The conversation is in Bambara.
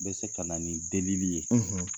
Bɛ se ka na ni delili ye.